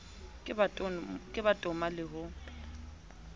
ka ba toma le ho